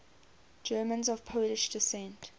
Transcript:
germans of polish descent